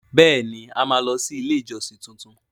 Bẹẹni! A máa lọ sí ilé ìjọsìn tuntun.